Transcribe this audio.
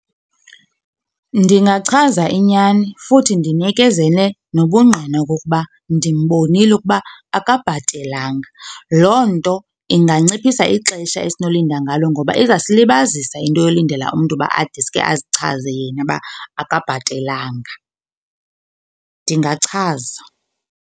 Ndingachaza inyani futhi ndinikezele nobungqina okokuba ndimbonile ukuba akabhatelanga. Loo nto inganciphisa ixesha esinolinda ngalo ngoba izasilibazisa into yolindela umntu uba adeske azichaze yena uba akabhatelanga. Ndingachaza.